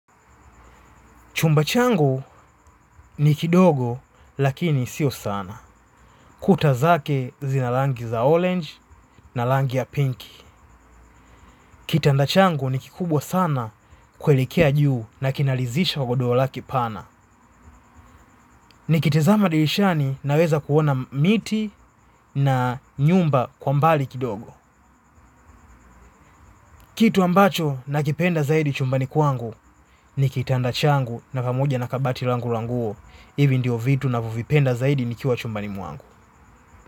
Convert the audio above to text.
Chumba changu ni kidogo lakini sio sana. Kuta zake zina rangi za orange na rangi ya pinky. Kitanda changu ni kikubwa sana kuelekea juu na kinaridhisha godoro lake pana. Nikitazama dirishani naweza kuona miti na nyumba kwa mbali kidogo. Kitu ambacho nakipenda zaidi chumbani kwangu ni kitanda changu na pamoja na kabati langu la nguo. Hivi ndio vitu ninavyovipenda zaidi nikiwa chumba ni mwangu.